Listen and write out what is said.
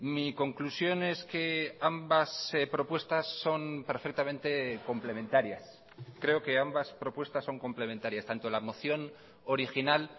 mi conclusión es que ambas propuestas son perfectamente complementarias creo que ambas propuestas son complementarias tanto la moción original